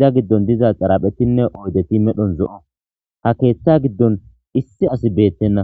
iza giddon diza xaraphetinne oydeti medhon zo7o ha keeththa giddon issi asi beettenna